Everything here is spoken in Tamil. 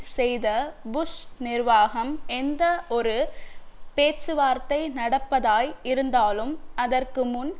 செய்த புஷ் நிர்வாகம் எந்த ஒரு பேச்சுவார்த்தை நடப்பதாய் இருந்தாலும் அதற்கு முன்